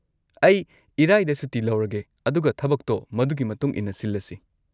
ꯑꯩ ꯏꯔꯥꯏꯗ ꯁꯨꯇꯤ ꯂꯧꯔꯒꯦ ꯑꯗꯨꯒ ꯊꯕꯛꯇꯣ ꯃꯗꯨꯒꯤ ꯃꯇꯨꯡ ꯏꯟꯅ ꯁꯤꯜꯂꯁꯤ꯫